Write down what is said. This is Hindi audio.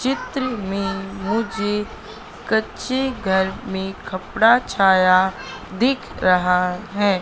चित्र में मुझे कच्चे घर में खपड़ा छाया दीख रहा है।